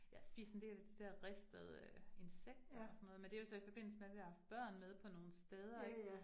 Jeg har spist en del af de der ristede insekter og sådan noget, men det jo så i forbindelse med, at vi har haft børn med på nogle steder ik